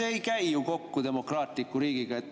See ei käi ju kokku demokraatliku riigiga.